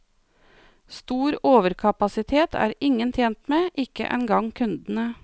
Stor overkapasitet er ingen tjent med, ikke engang kundene.